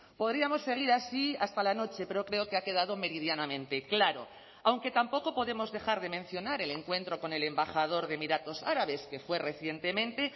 podríamos seguir así hasta la noche pero creo que ha quedado meridianamente claro aunque tampoco podemos dejar de mencionar el encuentro con el embajador de emiratos árabes que fue recientemente